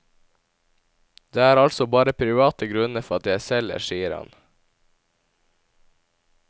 Det er altså bare private grunner for at jeg selger, sier han.